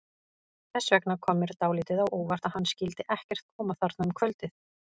Þess vegna kom mér dálítið á óvart að hann skyldi ekkert koma þarna um kvöldið.